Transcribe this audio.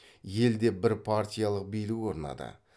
елде бірпартиялық билік орнады